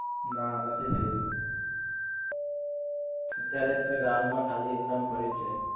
ના નથી થઇ રહ્યું અત્યારે તો ground માં ખાલી એમ નેમ પડ્યું છે